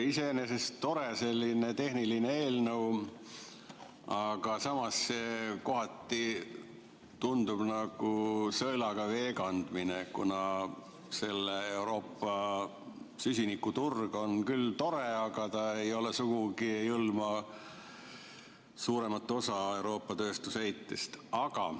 Iseenesest tore tehniline eelnõu, aga samas kohati tundub, nagu sõelaga vee kandmine, kuna see Euroopa süsinikuturg on küll tore, aga ta sugugi ei hõlma suuremat osa Euroopa tööstuse heitest.